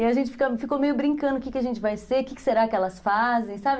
E a gente fica ficou meio brincando o que a gente vai ser, o que será que elas fazem, sabe?